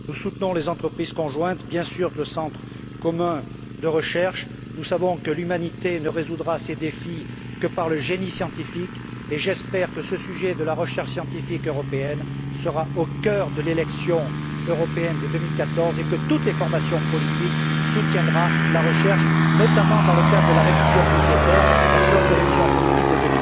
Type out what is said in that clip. Nous soutenons les entreprises conjointes, bien sûr, le Centre commun de recherche. Nous savons que l'humanité ne résoudra ces défis que par le génie scientifique et j'espère que la recherche scientifique européenne sera au cœur de l'élection européenne de 2014, et que toutes les formations politiques soutiendront la recherche notamment, dans le cadre de la révision budgétaire, la clause de révision politique de